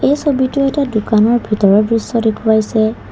এই ছবিটো এটা দোকানৰ ভিতৰৰ দৃশ্য দেখুওৱাইছে।